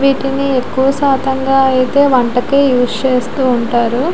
వీటిని ఎక్కువ శాతంగా అయితే వంటకి యూస్ చేస్తూ ఉంటారు.